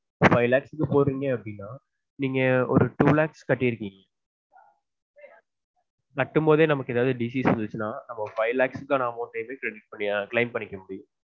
Five lakhs க்கு போடுறீங்க அப்டினா நீங்க ஒரு two lakhs கட்டீருக்கீங்க கட்டும் போதெ நமக்கு ஏதாவது disease வந்துடுச்சுனா five lakhs க்கு நீங்க credit claim பண்ணிக்க முடியும்